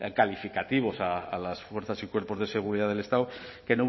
calificativos a las fuerzas y cuerpos de seguridad del estado que